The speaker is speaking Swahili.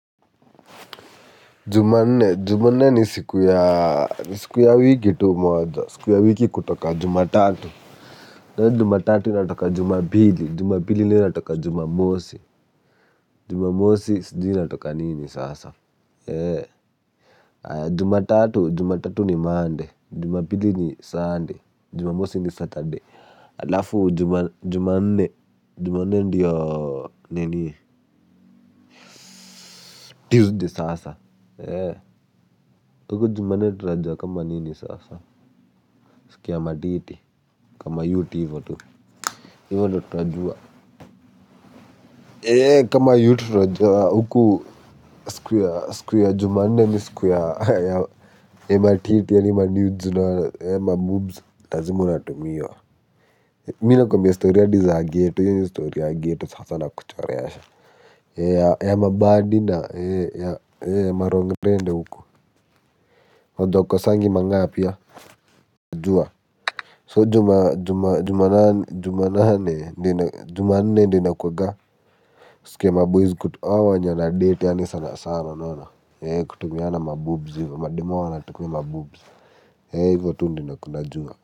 Jumanne ni siku ya, ni siku ya wiki tu moja, siku ya wiki kutoka. Jumatatu. Jumatatu inatoka. Jumapili. Jumapili nayo inatoka. Jumamosi. Jumamosi sijui inatoka nini sasa. Jumatatu ni Monday. Jumapili ni Sunday. Jumamosi ni Saturday. Halafu Jumanne, Jumanne ndiyo nini. Tuesday sasa. Kwa hivyo jumanne tunajuwa kama nini sasa. Siku ya matiti, kwa mayouth hivo tu. Hivo ndo tunajua. Kama yut tunajua huku siku ya jumanne ni siku ya ya matiti, yaani manudes na ma boobs lazima unatumiwa. Mi nakuambia story hadi za ghetto. Hiyo ni story ya ghetto sasa nakuchorea. Ya mabaddy na ma rongrende huku. Na hukosangi mang'aa pia. Najua, so juma juma juma nane juma nane ndo ina jumanne ndio inakuwaga siku ya maboyz hao wenye wanadate yaani sana sana unaona, kutumiana maboobz hivo, madame wao wanatuma maboob, hivyo tu ndio najua.